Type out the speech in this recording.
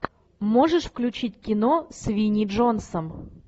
можешь включить кино с винни джонсом